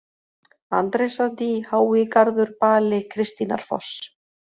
Andrésardý, Háigarður, Bali, Kristínarfoss